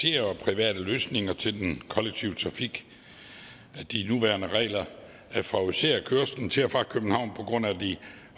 og private løsninger til den kollektive trafik de nuværende regler favoriserer kørslen til og fra københavn på grund af de